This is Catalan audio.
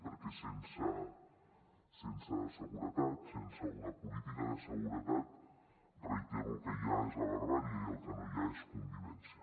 perquè sense seguretat sense una política de seguretat ho reitero el que hi ha és la barbàrie i el que no hi ha és convivència